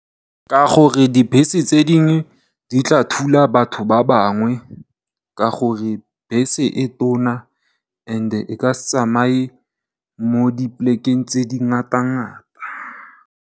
Ka gore dibese tse dingwe di tla thula batho ba bangwe, ka gore bese e tona and e ka se tsamaye mo di polekeng tse di ngata-ngata.